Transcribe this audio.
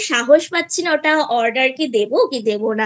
সাহস পাচ্ছিনা ওটা Order কি দেব কি দেব নাI